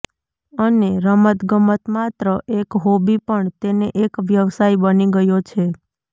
અને રમતગમત માત્ર એક હોબી પણ તેને એક વ્યવસાય બની ગયો છે